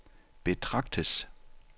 betragtes